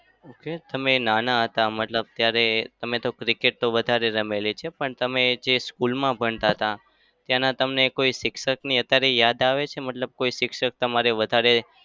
okay તમે નાના હતા મતલબ ત્યારે તમે તો cricket તો વધારે રમેલી છે. પણ તમે જે school માં ભણતા હતાં. ત્યાંના તમને કોઈ શિક્ષકની અત્યારે યાદ આવે છે? મતલબ કોઈ શિક્ષક તમારે વધારે?